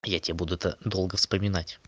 я тебя буду то долго вспоминать